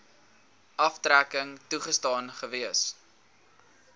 aftrekking toegestaan gewees